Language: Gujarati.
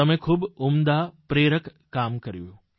તમે ખૂબ ઉમદા પ્રેરક કામ કર્યું